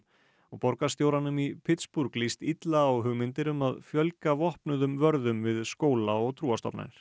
borgarstjóranum í lýst illa á hugmyndir um að fjölga vopnuðum vörðum við skóla og trúarstofnanir